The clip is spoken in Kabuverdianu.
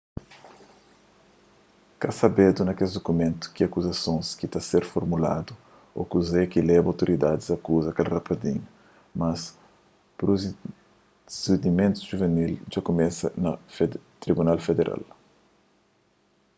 ka sabedu nes mumentu ki akuzasons ki ta ser formuladu ô kuze ki leba otoridadis a akuza kel rapazinhu mas prusidimentus juvinil dja kumesa na tribunal federal